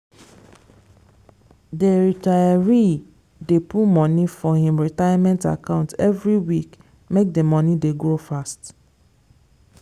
the retiree dey put money for him retirement account every week make the money dey grow fast.